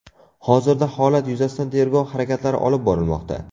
Hozirda holat yuzasidan tergov harakatlari olib borilmoqda.